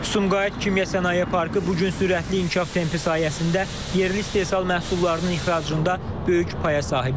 Sumqayıt Kimya Sənaye Parkı bu gün sürətli inkişaf tempi sayəsində yerli istehsal məhsullarının ixracında böyük paya sahibdir.